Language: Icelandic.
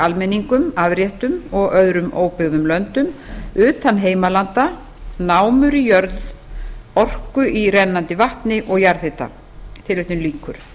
almenningum afréttum og öðrum óbyggðum löndum utan heimalanda námur í jörð orku í rennandi vatni og jarðhita tilvitnun lýkur